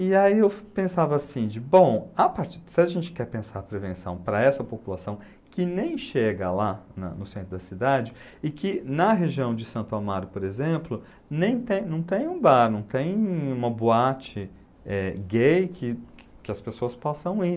E aí eu pensava assim, bom, se a gente quer pensar prevenção para essa população que nem chega lá na no centro da cidade e que na região de Santo Amaro, por exemplo, nem tem, não tem um bar, não tem uma boate, eh, gay que as pessoas possam ir.